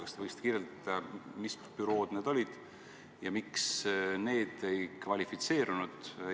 Kas te võiksite kirjeldada, mis bürood need olid ja miks need ei kvalifitseerunud?